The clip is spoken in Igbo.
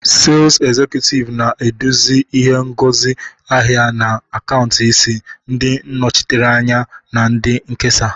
Sales Executive na-eduzi ihe ngosi ahịa na akaụntụ isi, ndị nnọchiteanya na ndị nkesa